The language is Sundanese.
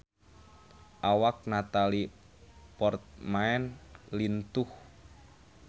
Awak Natalie Portman lintuh